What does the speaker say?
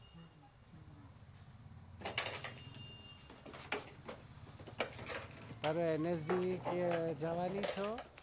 તું nsgv જવાની છો.